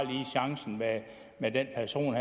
chancen med den person